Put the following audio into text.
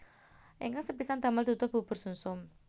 Ingkang sepisan damel duduh bubur sumsum